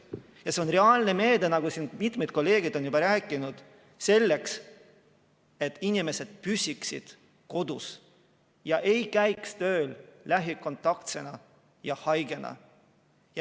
Ja see on reaalne meede, nagu siin mitmed kolleegid on juba rääkinud, selleks et inimesed püsiksid kodus ja ei käiks tööl lähikontaktsena või haigena.